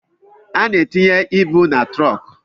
A na-etinye ịbụ na trunku